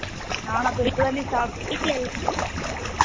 நானா இப்போதான் டி சாப்பட்டேன்